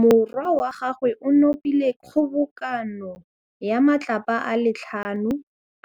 Morwa wa gagwe o nopile kgobokanô ya matlapa a le tlhano,